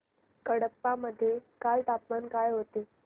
कडप्पा मध्ये काल तापमान काय होते